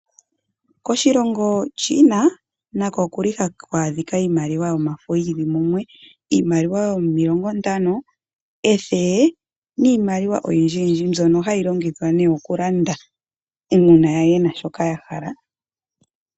Koshilongo China, nako oku li haku adhika iimaliwa yomafo yili mumwe, iimaliwa yomilongo ntano, ethele, niimaliwa oyindjiyindji mbyoka hayi longithwa oku landa uuna ye na shoka ya hala.